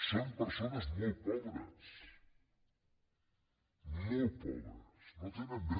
són persones molt pobres molt pobres no tenen re